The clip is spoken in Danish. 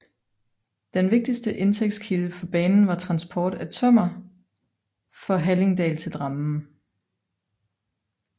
Den vigtigste indtægtskilde for banen var transport af tømmer fra Hallingdal til Drammen